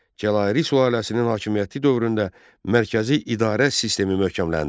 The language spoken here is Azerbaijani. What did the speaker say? Cəlaliri sülaləsinin hakimiyyəti dövründə mərkəzi idarə sistemi möhkəmləndi.